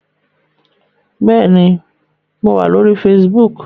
Bẹ́ẹ̀ni, mo wà lórí Facebook